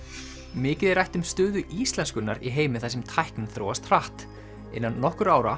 mikið er rætt um stöðu íslenskunnar í heimi þar sem tæknin þróast hratt innan nokkurra ára